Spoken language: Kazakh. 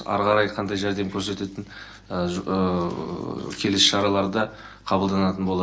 ары қарай қандай жәрдем көрсетілетіні келесі шараларда қабылданатын болады